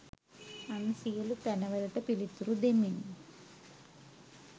අන් සියලු පැන වලට පිළිතුරු දෙමින්